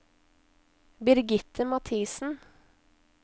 Birgitte Mathiesen